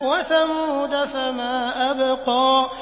وَثَمُودَ فَمَا أَبْقَىٰ